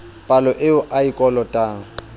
palo eo a e kolotang